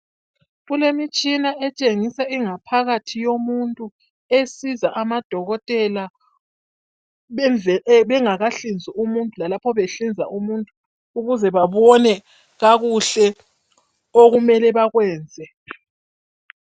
Kulemitshina etshengisa ingaphakathi yomuntu esiza amadokotela bengakahlinzi umuntu lalapho behlinza umuntu ukuze babone kakuhle okumele bakwenze.